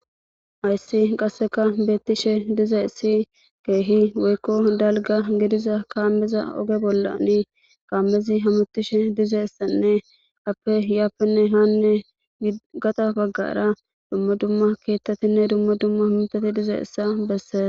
ayssi qasseka beettishe diza issi keehi weykko dalga gediza kaammeza oge bollani kaammezi hamutishe diza issanne appe iyaappenne haanne gata baggara dumma dumma keettatinne dumma dumma himtati diza issa bessee